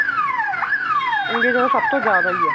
India ਚ ਤਾਂ ਸਭ ਤੋਂ ਜਿਆਦਾ ਹੀ ਏ